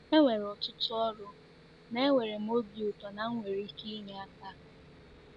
E nwere ọtụtụ ọrụ, ma enwere m obi ụtọ na m nwere ike inye aka.